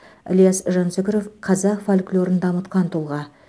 ілияс жансүгіров қазақ фольклорын дамытқан тұлға